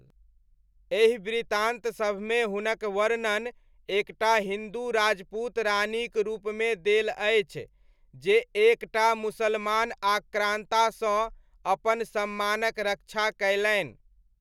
एहि वृत्तान्त सभमे हुनक वर्णन एक टा हिन्दू राजपूत रानीक रूपमे देल अछि जे एक टा मुसलमान आक्रान्तासँ अपन सम्मानक रक्षा कयलनि।